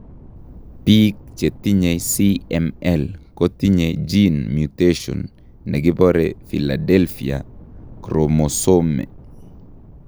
Biik chetinye CML kotinye gene mutation nekibore philadelphia chromosome